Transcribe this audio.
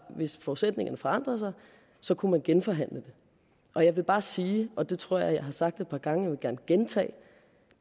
hvis forudsætningerne forandrede sig kunne man genforhandle den og jeg vil bare sige og det tror jeg at jeg har sagt et par gange vil gerne gentage